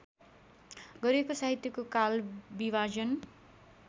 गरिएको साहित्यको कालविभाजन